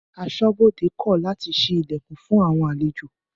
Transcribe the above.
Aṣọ́bodè kọ làtí sìí Ìlẹ̀kùn fún àwọn àlẹjò